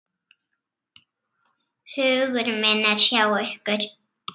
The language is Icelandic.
Hugur minn er hjá ykkur.